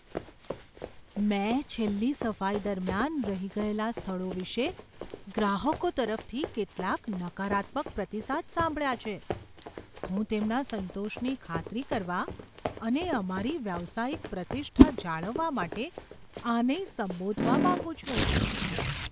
મેં છેલ્લી સફાઈ દરમિયાન રહી ગયેલા સ્થળો વિશે ગ્રાહક તરફથી કેટલાક નકારાત્મક પ્રતિસાદ સાંભળ્યા છે. હું તેમના સંતોષની ખાતરી કરવા અને અમારી વ્યાવસાયિક પ્રતિષ્ઠા જાળવવા માટે આને સંબોધવા માંગુ છું.